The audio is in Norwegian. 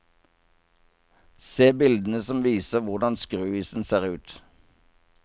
Se bildene som viser hvordan skruisen ser ut.